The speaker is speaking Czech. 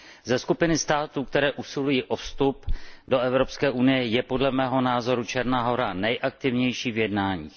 Ze skupiny států, které usilují o vstup do Evropské unie, je podle mého názoru Černá Hora nejaktivnější v jednáních.